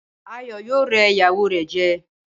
Ayọ̀ yóò rẹ́ ìyàwó rẹ̀ jẹ.